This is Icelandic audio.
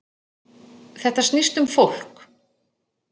Þetta snýst um fólk